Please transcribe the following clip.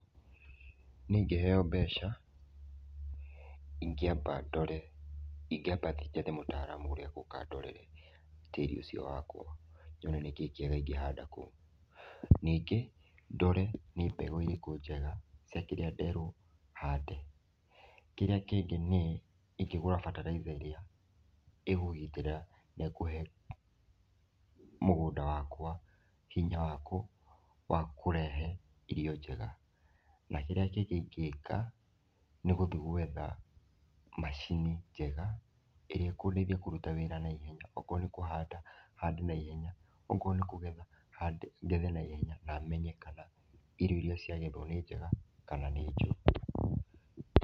Nĩĩ ĩngĩheyo mbeca ,ingiamba ndore, ĩngĩamba thĩĩ njethe mũtaramu ũrĩa ũgũka andorere tĩri ũcio wakwa, nyone nĩkĩĩ kĩega ĩngĩhanda kũu. Ningĩ ndore nĩ mbegũ ĩrĩkũ njega cia kĩrĩa nderwo hande. Kĩrĩa kĩngĩ nĩ ĩngĩgũra bataraitha ĩrĩa ĩkũgitĩra na ĩkũhe mũgũnda wakwa hinya wa kũrehe irio njega. Na kĩrĩa kĩngĩ ingĩka nĩ gũthĩ gwetha macini njega ĩria ĩkũndeithia kũruta wĩra naihenya, ũkorwo nĩ kũhanda hande naihenya, ũkorwo nĩ kũgetha ngethe naihenya na menye kana irio ĩria cia gethwo nĩ njega kana nĩ njũru.